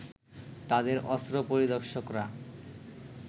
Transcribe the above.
তাদের অস্ত্র পরিদর্শকরা